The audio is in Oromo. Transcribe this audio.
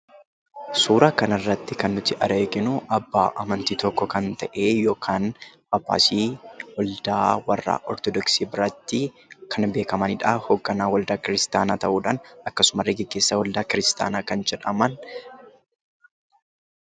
Suuraa kanarratti kan nuti arginu abbaa amantii tokkoo kan ta'e Phaaphaasii bareedaa warra Ortodoksii biratti kan beekamanidha. Hoogganaa waldaa kiristaanaa ta'uudhaan akkasumallee gaggeessaa waldaa kiristaanaa kan jedhaman.